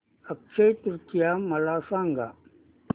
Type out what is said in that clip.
अक्षय तृतीया मला सांगा